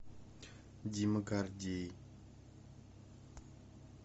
дима гордей